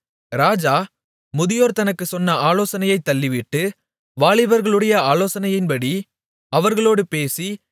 ராஜா முதியோர் தனக்குச் சொன்ன ஆலோசனையைத் தள்ளிவிட்டு வாலிபர்களுடைய ஆலோசனையின்படி அவர்களோடு பேசி